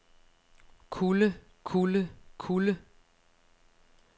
kulde kulde kulde